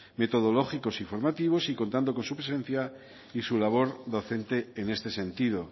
metodológicos y formativos y contando con su presencia y su labor docente en este sentido